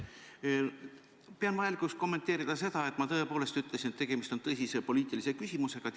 Pean vajalikuks kommenteerida seda, et ma tõepoolest ütlesin, et tegemist on tõsise poliitilise küsimusega.